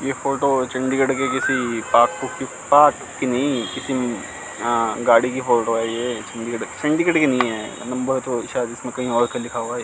ये फोटो चंडीगढ़ के किसी नहीं किसी आ गाड़ी की फोटो है ये चंडीगढ़ सेंडीगड की नहीं हैं नबर तो शायद इसमें कहीं और की लिखा हुआ है।